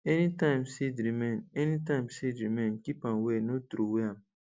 anytime seed remain anytime seed remain keep am well no throway am